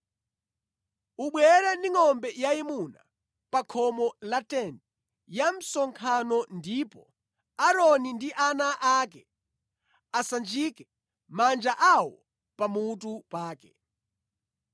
“Ubwere ndi ngʼombe yayimuna pa khomo la tenti ya msonkhano ndipo Aaroni ndi ana ake asanjike manja awo pamutu pake.